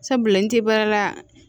Sabula n tɛ baara la